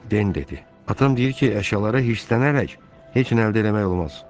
Den dedi: Atam deyir ki, əşyalara hirslənərək heç nə əldə eləmək olmaz.